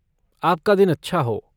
आपका दिन अच्छा हो!